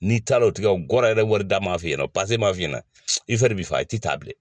N'i taa o tigɛ o gɔ yɛrɛ wari da m'a f'i ɲɛna pase m'a f'i ɲɛna i fari bi faa i ti taa bilen.